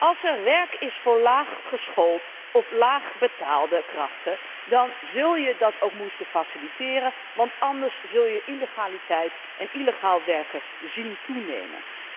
Als er werk is voor laag geschoolde of laag betaalde krachten dan zul je dat ook moeten faciliteren, want anders zul je illegaliteit en illegaal werken zien toenemen.